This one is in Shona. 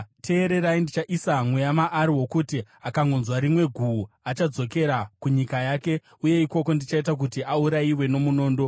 Teererai! Ndichaisa mweya maari wokuti akangonzwa rimwe guhu, achadzokera kunyika yake, uye ikoko, ndichaita kuti aurayiwe nomunondo.’ ”